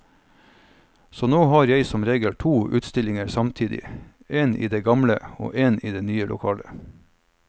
Så nå har jeg som regel to utstillinger samtidig, én i det gamle og én i det nye lokalet.